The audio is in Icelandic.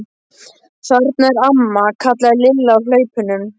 Þarna er amma! kallaði Lilla á hlaupunum.